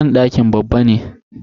Banɗaki babba ne.